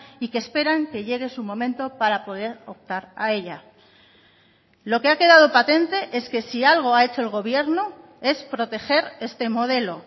y que esperan que llegue su momento para poder optar a ella lo que ha quedado patente es que si algo ha hecho el gobierno es proteger este modelo